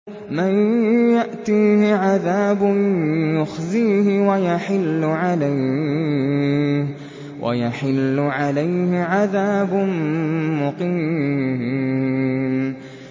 مَن يَأْتِيهِ عَذَابٌ يُخْزِيهِ وَيَحِلُّ عَلَيْهِ عَذَابٌ مُّقِيمٌ